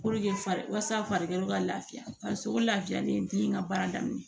fari walasa farikolo ka lafiya o lafiyalen den in ka baara daminɛ